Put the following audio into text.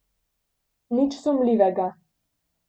Nič sumljivega.